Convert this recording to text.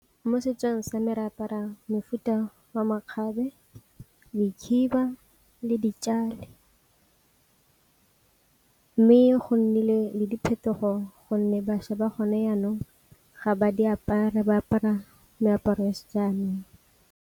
Mo setsong sa me re apara mefuta wa makgabe, dikhiba le ditšhale. Mme go nnile le diphetogo gonne bašwa ba gone jaanong ga ba di apara ba apara meaparo ya se jaanong.